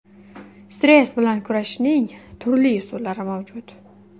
Stress bilan kurashishning turli usullari mavjud.